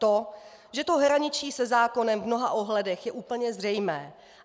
To, že to hraničí se zákonem v mnoha ohledech, je úplně zřejmé.